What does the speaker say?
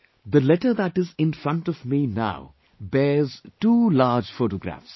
The letter that is in front of me now bears two large photographs